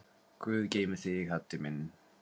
Guð geymi þig, Haddi minn.